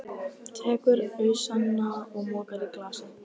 Tekur ausuna og mokar í glasið.